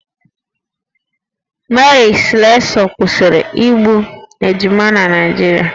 Mary Slessor kwụsịrị igbu ejima na Naịjirịa